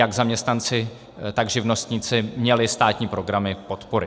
Jak zaměstnanci, tak živnostníci měli státní programy podpory.